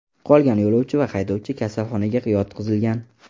Qolgan yo‘lovchi va haydovchi kasalxonaga yotqizilgan.